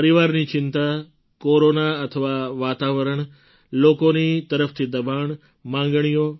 પરિવારની ચિંતા કોરોના અથવા વાતાવરણ લોકોની તરફથી દબાણ માગણીઓ